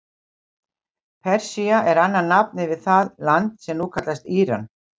Persía er annað nafn yfir það land sem nú kallast Íran.